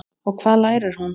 Og hvað lærir hún?